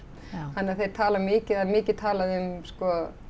þannig að þeir tala mikið eða mikið talað um sko